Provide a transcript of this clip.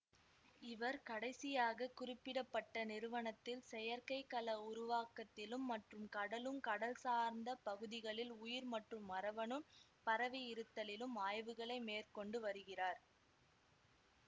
இவர் கடைசியாக குறிப்பிட பட்ட நிறுவனத்தில் செயற்கை கல உருவாக்கத்திலும் மற்றும் கடலும் கடல் சார்ந்தப் பகுதிகளில் உயிர் மற்றும் மரபணு பரவியிருத்தலிலும் ஆய்வுகளை மேற்கொண்டு வருகிறார்